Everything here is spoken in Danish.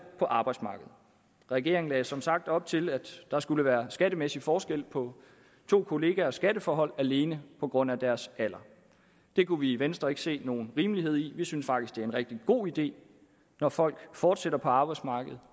på arbejdsmarkedet regeringen lagde som sagt op til at der skulle være skattemæssig forskel på to kollegaers skatteforhold alene på grund af deres alder det kunne vi i venstre ikke se nogen rimelighed i vi synes faktisk det er en rigtig god idé når folk fortsætter på arbejdsmarkedet